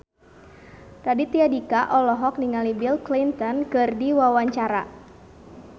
Raditya Dika olohok ningali Bill Clinton keur diwawancara